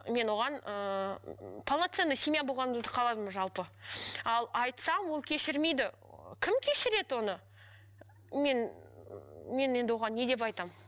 мен оған ыыы полноценный семья болғанымызды қаладым жалпы ал айтсам ол кешірмейді кім кешіреді оны мен мен енді оған не деп айтамын